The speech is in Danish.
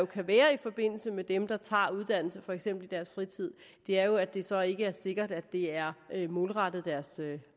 kan være i forbindelse med dem der tager uddannelse for eksempel i deres fritid er jo at det så ikke er sikkert at det er målrettet deres